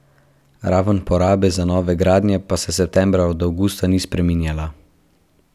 Raven porabe za nove gradnje pa se septembra od avgusta ni spreminjala.